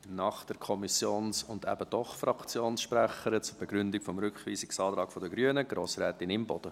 Nach der Kommissions- und eben doch Fraktionssprecherin zur Begründung des Rückweisungsantrags der Grünen: Grossrätin Imboden.